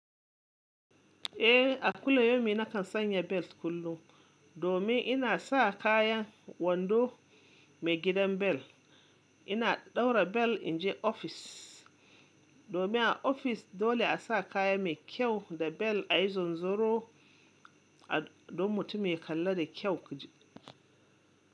Eh, a kullum yaumi na kan sanya bel kullum, domin ina sa kayan wando mai gidan bel. Ina ɗaura bel in je ofis, domin a ofis dole a sa kaya mai kyau da bel a yi zunzuro, don mutum ya kalla da kyau ku ji.